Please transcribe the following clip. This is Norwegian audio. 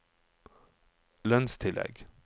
lønnstillegg